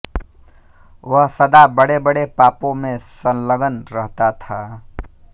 वह सदा बड़ेबड़े पापों में संलग्न रहता था